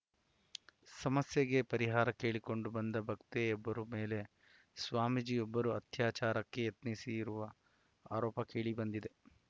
ಸಮಸ್ಯೆಗೆ ಪರಿಹಾರ ಕೇಳಿಕೊಂಡು ಬಂದ ಭಕ್ತೆಯೊಬ್ಬರ ಮೇಲೆ ಸ್ವಾಮೀಜಿಯೊಬ್ಬರು ಅತ್ಯಾಚಾರಕ್ಕೆ ಯತ್ನಿಸಿರುವ ಆರೋಪ ಕೇಳಿಬಂದಿದೆ